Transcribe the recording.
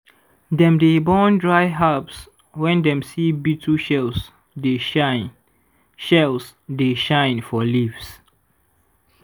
dem dey burn dry herbs when dem see beetle shells dey shine shells dey shine for leaves.